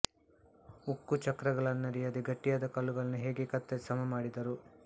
ಉಕ್ಕು ಚಕ್ರಗಳನ್ನರಿಯದೆ ಗಟ್ಟಿಯಾದ ಕಲ್ಲುಗಳನ್ನು ಹೇಗೆ ಕತ್ತರಿಸಿ ಸಮ ಮಾಡಿದರು